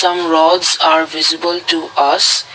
some rods are visible to us.